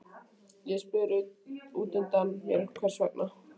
Ég spyr útundan mér hvers vegna